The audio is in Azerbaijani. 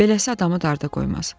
Beləsi adamı darda qoymaz."